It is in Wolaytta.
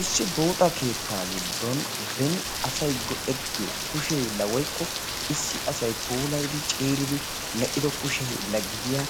issi buuxxa keettaa giddon beni asay godettiyo kusheylla woykko issi asay poolaydi ceeridi medhdhido kusheylla gidiya